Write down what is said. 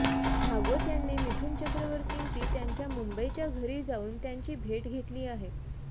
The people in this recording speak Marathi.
भागवत यांनी मिथुन चक्रवर्तींची त्यांच्या मुंबईच्या घरी जाऊन त्यांची भेट घेतली आहे